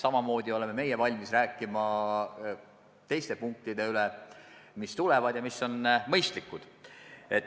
Samamoodi oleme meie valmis rääkima teiste punktide üle, mis ehk veel tulevad ja mis on mõistlikud.